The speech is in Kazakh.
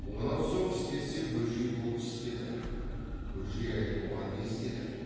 онан соң істесе бөжей бұл істеді бөжей әлі бұған не істеді